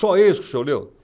Só esse que o senhor leu?